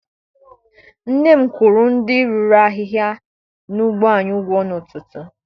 Nne m kwụrụ ndị rụrụ ahịhịa n'ugbo anyị ụgwọ n'ụtụtụ.